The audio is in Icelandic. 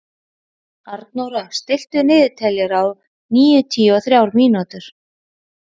Arnóra, stilltu niðurteljara á níutíu og þrjár mínútur.